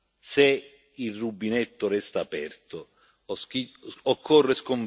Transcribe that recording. Occorre sconfiggere le mafie che lucrano sul bisogno umano